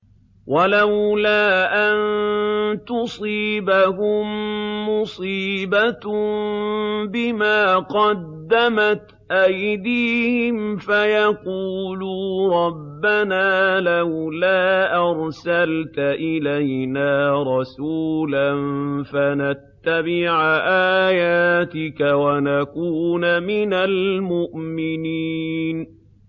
وَلَوْلَا أَن تُصِيبَهُم مُّصِيبَةٌ بِمَا قَدَّمَتْ أَيْدِيهِمْ فَيَقُولُوا رَبَّنَا لَوْلَا أَرْسَلْتَ إِلَيْنَا رَسُولًا فَنَتَّبِعَ آيَاتِكَ وَنَكُونَ مِنَ الْمُؤْمِنِينَ